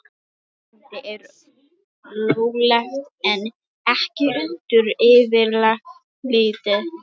Blár: Vændi er löglegt en ekki undir eftirliti.